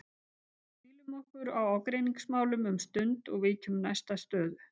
Hvílum okkur á ágreiningsmálum um stund og víkjum næst að stöðu